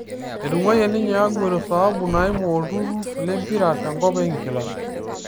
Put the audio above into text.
Etung'uayie ninye Aguero sahabu naimu olturur lempira tenkop e inkilan